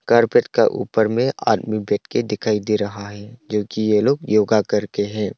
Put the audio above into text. Carpet का ऊपर मे आदमी बैठ के दिखाई दे रहा है जो कि ये लोग योगा कर के है।